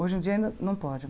Hoje em dia nã não pode né.